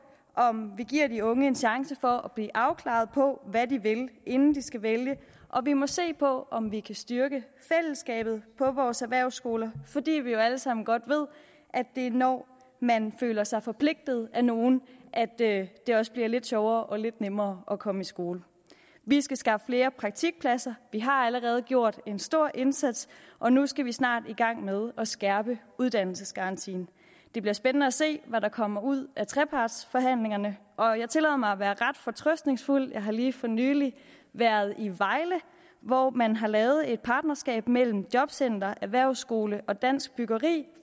om vi giver de unge en chance for at blive afklaret på hvad de vil inden de skal vælge og vi må se på om vi kan styrke fællesskabet på vores erhvervsskoler fordi vi jo alle sammen godt ved at det er når man føler sig forpligtet af nogle det det også bliver lidt sjovere og lidt nemmere at komme i skole vi skal skaffe flere praktikpladser vi har allerede gjort en stor indsats og nu skal vi snart i gang med at skærpe uddannelsesgarantien det bliver spændende at se hvad der kommer ud af trepartsforhandlingerne og jeg tillader mig at være ret fortrøstningsfuld jeg har lige for nylig været i vejle hvor man har lavet et partnerskab mellem jobcenter erhvervsskole og dansk byggeri